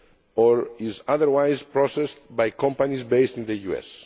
or is otherwise processed by companies based in the US.